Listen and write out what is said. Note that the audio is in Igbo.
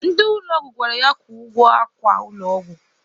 Ndị ụlọ ọgwụ gwara ya kwụọ ụgwọ akwa ụlọ ọgwụ.